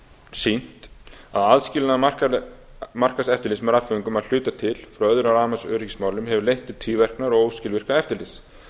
sýnt að aðskilnaður markaðseftirlits með rafföngum að hluta til frá öðrum rafmagnsöryggismálum hefur leitt til tvíverknaðar og óskilvirkara eftirlits